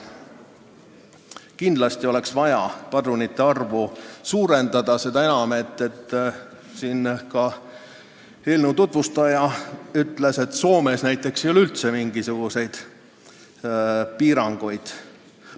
Kindlasti oleks vaja lubatud padrunite arvu suurendada, seda enam, et ka eelnõu tutvustaja ütles, et Soomes näiteks ei ole üldse mingisuguseid piiranguid.